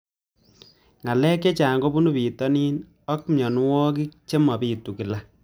Ng'alek chechang kopunu pitonin ako mianwogik che mapitu kila